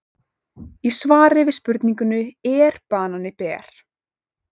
Í svari við spurningunni Er banani ber?